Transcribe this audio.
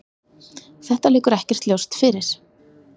Þetta liggur ekkert ljóst fyrir.